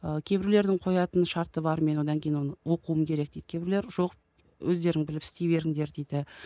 ал кейбіреулердің қоятын шарты бар мен одан кейін оны оқуым керек дейді кейбіреулер жоқ өздерің біліп істей беріндер дейді